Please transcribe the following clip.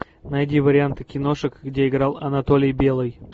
найди варианты киношек где играл анатолий белый